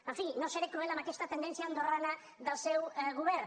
en fi no seré cruel amb aquesta tendència andorrana del seu govern